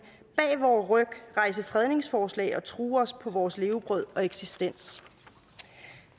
bag vor ryg rejse fredningsforslag og true os på vores levebrød og eksistens